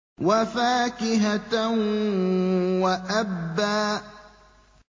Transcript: وَفَاكِهَةً وَأَبًّا